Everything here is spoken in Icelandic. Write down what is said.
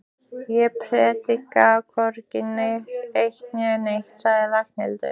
Ég predika hvorki eitt né neitt sagði Ragnhildur.